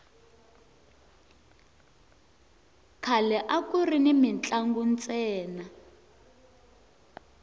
khale akuri ni mintlangu ntsena